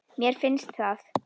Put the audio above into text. Mér finnst það.